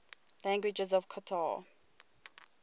languages of qatar